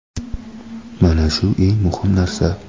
Mana shu eng muhim narsa.